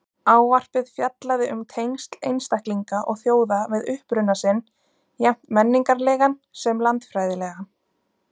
Ávarpið fjallaði um tengsl einstaklinga og þjóða við uppruna sinn, jafnt menningarlegan sem landfræðilegan.